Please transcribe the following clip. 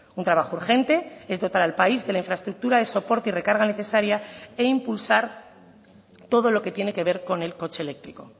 un trabajo urgente es dotar al país de la infraestructura de soporte y recarga necesaria e impulsar todo lo que tiene que ver con el coche eléctrico